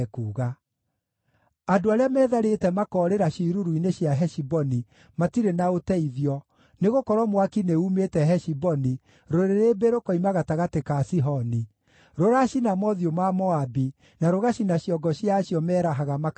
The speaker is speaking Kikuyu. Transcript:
“Andũ arĩa metharĩte makoorĩra ciĩruru-inĩ cia Heshiboni matirĩ na ũteithio, nĩgũkorwo mwaki nĩumĩte Heshiboni, rũrĩrĩmbĩ rũkoima gatagatĩ ka Sihoni; rũracina mothiũ ma Moabi, na rũgacina ciongo cia acio merahaga makarehe ngũĩ.